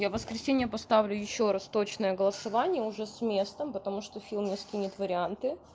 я в воскресенье поставлю ещё раз точное голосование уже с местом потому что фил мне скинет варианты